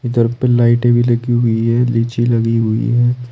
इधर पे लाइट भी लगी हुई है लीची लगी हुई है।